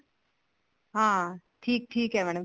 ਹਾਂ ਠੀਕ ਠੀਕ ਹੈ madam